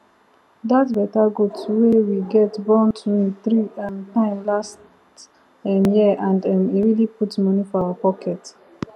that better goat wey we get born twin three um time last um year and um e really put money for our pocket